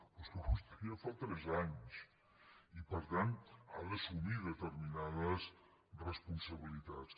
però és que vostè ja fa tres anys i per tant ha d’assumir determinades responsabilitats